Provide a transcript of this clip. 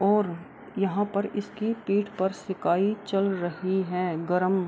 और यहाँ पर इसकी पीठ पर इसकी सिकाई चल रही हैं गरम ।